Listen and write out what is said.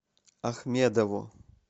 ахмедову